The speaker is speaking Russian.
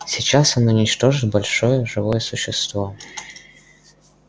сейчас он уничтожит большое живое существо